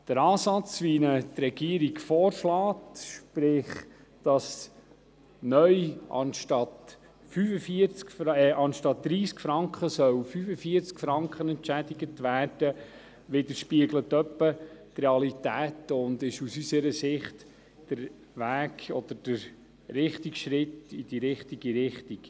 Der Ansatz, wie ihn die Regierung vorschlägt, sprich, dass neu statt 30 Franken 45 Franken entschädigt werden sollen, widerspiegelt etwa die Realität und ist aus unserer Sicht der Weg oder der richtige Schritt in die richtige Richtung.